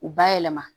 U bayɛlɛma